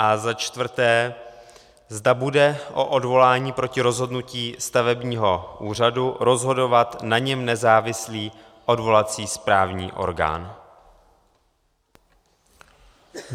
A za čtvrté, zda bude o odvolání proti rozhodnutí stavebního úřadu rozhodovat na něm nezávislý odvolací správní orgán.